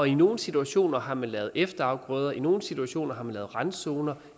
i nogle situationer har man lavet efterafgrøder i nogle situationer har man lavet randzoner